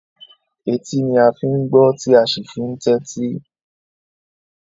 Etí ni a fi ń gbọ́, tí a sì fi ń tẹ́tí.